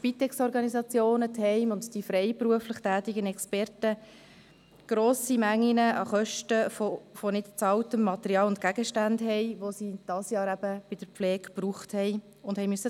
Der Spitex-Verband, die Spitex-Organisationen, die Heime und die freiberuflich tätigen Experten haben eine grosse Menge an Kosten wegen nicht bezahlter Materialien und Gegenstände, die sie dieses Jahr in der Pflege gebraucht haben und selbst bezahlen mussten.